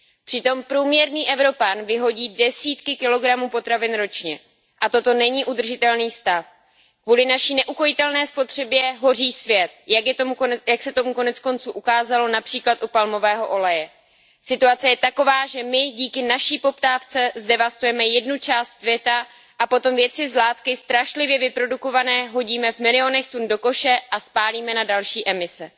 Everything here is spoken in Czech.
Přitom průměrný Evropan vyhodí desítky kilogramů potravin ročně a toto není udržitelný stav. Kvůli naší neukojitelné spotřebě hoří svět. Jak se koneckonců ukázalo např. u palmového oleje. Situace je taková, že my díky naší poptávce zdevastujeme jednu část světa a potom věci z látky strašlivě vyprodukované hodíme v milionech tun do koše a spálíme na další emise.